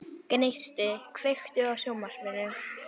Gneisti, kveiktu á sjónvarpinu.